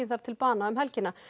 þar til bana um helgina